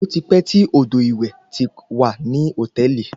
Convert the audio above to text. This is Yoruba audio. Ó ti pẹ́ tí odò ìwẹ̀ ti wà ní hòtẹ́ẹ̀lì.